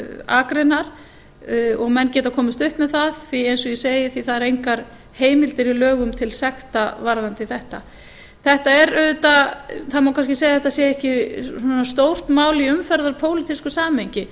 akreinar og menn geta komist upp með það því að eins og ég segi eru engar heimildir í lögum til sekta varðandi þetta það má kannski segja að þetta sé ekki stórt mál í umferðarpólitísku samhengi